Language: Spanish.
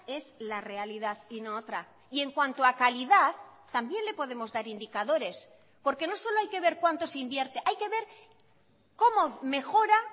es la realidad y no otra y en cuanto a calidad también le podemos dar indicadores porque no solo hay que ver cuánto se invierte hay que ver cómo mejora